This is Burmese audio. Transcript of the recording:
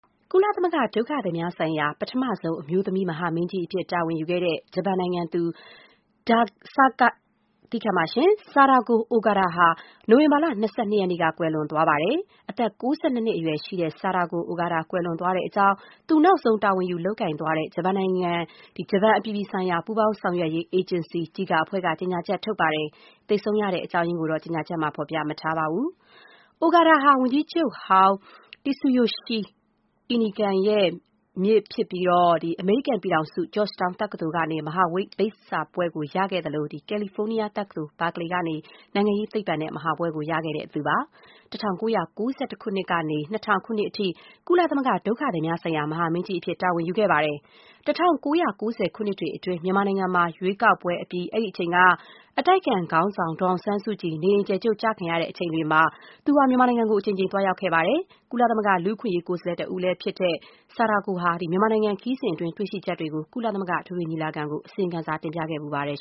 ကုလသမဂ္ဂ ဒုက္ခသည်များဆိုင်ရာ ပထမဆုံးအမျိုးသမီး မဟာမင်းကြီးအဖြစ် တာဝန်ယူခဲ့တဲ့ ဂျပန်နိုင်ငံသူ Sadako Ogata ဟာ အောက်တိုဘာလ ၂၂ ရက်နေ့က ကွယ်လွန်သွားပါတယ်။ အသက် ၉၂ နှစ်အရွယ်ရှိတဲ့ ဆာဒါကို အိုဂါတာ ကွယ်လွန်သွားတဲ့အကြောင်း သူနောက်ဆုံး တာဝန်ယူလုပ်ကိုင်သွားတဲ့ ဂျပန်နိုင်ငံရဲ့ အပြည်ပြည်ဆိုင်ရာ ပူးပေါင်းဆောင်ရွက်ရေး အေဂျင်စီ (JICA) အဖွဲ့က ကြေညာချက်ထုတ်ပြန်ပါတယ်။ သေဆုံးရတဲ့ အကြောင်းအရင်းကိုတော့ ကြေညာချက်မှာ ဖော်ပြမထားပါဘူး။ Ogata ဟာ ဂျပန်ဝန်ကြီးချုပ်ဟောင်း Tsuyoshi Inukai ရဲ့ မြစ်တော်စပ်ပြီး အမေရိကန်ပြည်ထောင်စု Georgetown တက္ကသိုလ်ကနေ မဟာဘွဲ့ရခဲ့သလို ကယ်လီဖိုးနီးယားတက္ကသိုလ် Berkeley ကနေ နိုင်ငံရေးသိပ္ပံနဲ့ ပါရဂူဘွဲ့ရခဲ့တာ ဖြစ်ပါတယ်။ ၁၉၉၁ ခုနှစ်ကနေ ၂၀၀၀ ခုနှစ်အထိ ကုလသမဂ္ဂ ဒုက္ခသည်များဆိုင်ရာ မဟာမင်းကြီးအဖြစ် တာဝန်ယူခဲ့ပါတယ်။ ၁၉၉၀ ပြည့်နှစ်တွေအတွင်း မြန်မာနိုင်ငံမှာ ရွေးကောက်ပွဲပြီး အဲဒီအချိန်က အတိုက်ခံခေါင်းဆောင် ဒေါ်အောင်ဆန်းစုကြည် နေအိမ်အကျယ်ချုပ် ကျခံခဲ့ရတဲ့အချိန်တွေမှာ ဆာဒါကို အိုဂါတာ ဟာ မြန်မာနိုင်ငံကို အကြိမ်ကြိမ် သွားရောက်ခဲ့ပါတယ်။ ကုလသမဂ္ဂ လူ့အခွင့်အရေး ကိုယ်စားလှယ် တဦးလည်းဖြစ်ခဲ့တဲ့ ဆာဒါကို ဟာ မြန်မာနိုင်ငံခရီးစဉ်အတွင်း တွေ့ရှိချက်တွေကိုလည်း ကုလသမဂ္ဂအထွေထွေညီလာခံကို အစီရင်ခံစာ တင်ပြခဲ့ဖူးပါတယ်